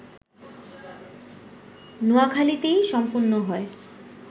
নোয়াখালীতেই সম্পন্ন হয়